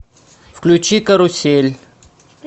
включи карусель